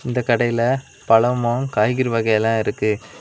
இந்த கடையில பழமு காய்கறி வகையெல இருக்கு.